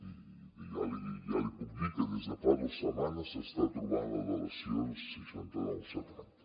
i ja li puc dir que des de fa dos setmanes s’està trobant la relació seixanta nou setanta